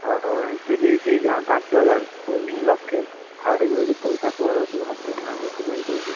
ଆଉ ଏମତିକି ଦିହଜାରେ ପାଞ୍ଚହଜରେ, winning ଲକ୍ଷେ, ହାରିବୁ ଯଦି ପଇସା ପଳେଇବ ସବୁ ହାତରୁନା ଯେତିକି income ଥିବ।